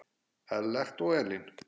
Ellert og Elín.